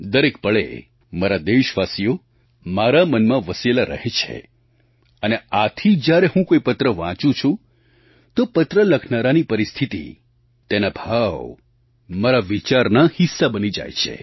દરેક પળે મારા દેશવાસીઓ મારા મનમાં વસેલા રહે છે અને આથી જ્યારે હું કોઈ પત્ર વાંચું છું તો પત્ર લખનારાની પરિસ્થિતિ તેના ભાવ મારા વિચારના હિસ્સા બની જાય છે